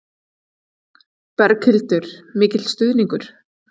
Berghildur: Mikil stuðningur?